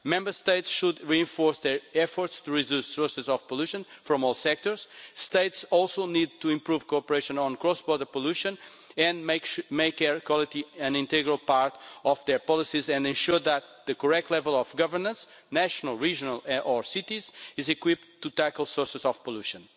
Member States should reinforce their efforts to tackle sources of pollution from all sectors. States also need to improve cooperation on cross-border pollution, make air quality an integral part of their policies, and ensure that the correct level of governance national, regional or municipal is equipped to tackle sources of pollution.